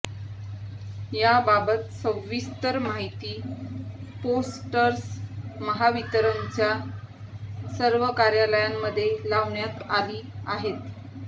याबाबत सविस्तर माहिती पोस्टर्स महावितरणच्या सर्व कार्यालयांमध्ये लावण्यात आली आहेत